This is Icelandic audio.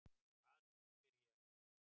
Hvað nú? spyr ég.